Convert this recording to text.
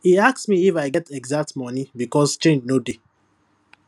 e ask me if i get exact money because change no dey